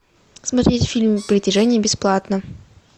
смотреть фильм притяжение бесплатно